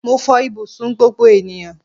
Mó fò ibùsùn gbogbo ènìyàn